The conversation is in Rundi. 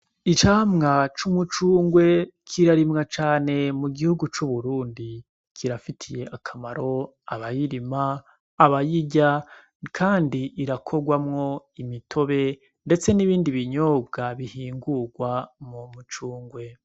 Icamwa c'umucungwe kirarimwa cane mugihugu c'uburundi ,kirafitiye akamaro abayirima, abayirya kand'irakorwamwo, imitobe ndetse n'ibindi binyobwa bihingurwa mu mucungwe.